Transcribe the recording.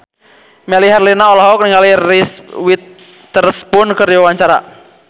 Melly Herlina olohok ningali Reese Witherspoon keur diwawancara